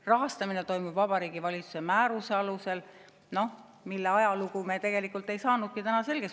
Rahastamine toimub Vabariigi Valitsuse määruse alusel, mille ajalugu me tegelikult ei saanudki täna selgeks.